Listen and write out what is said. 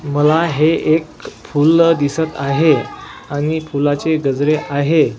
मला हे एक फुल दिसत आहे आणि फुलाचे गजरे आहे.